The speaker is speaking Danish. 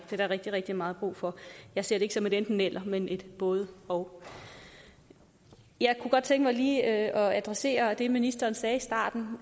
er der rigtig rigtig meget brug for jeg ser det ikke som et enten eller men et både og jeg kunne godt tænke mig lige at adressere det ministeren sagde i starten